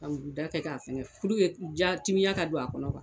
Ka u da kɛ k'a fɛngɛ diya timiya ka don a kɔnɔ